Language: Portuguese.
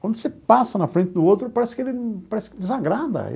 Quando você passa na frente do outro, parece que ele parece que desagrada.